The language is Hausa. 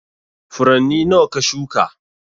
Furanni nawa ka shuka?